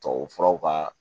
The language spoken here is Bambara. Tubabufuraw ka